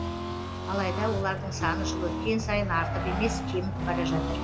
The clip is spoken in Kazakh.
алайда олардың саны жыл өткен сайын артып емес кеміп бара жатыр